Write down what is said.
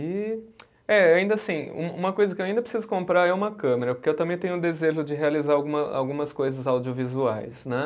E eh, ainda assim, um uma coisa que eu ainda preciso comprar é uma câmera, porque eu também tenho um desejo de realizar alguma algumas coisas audiovisuais, né?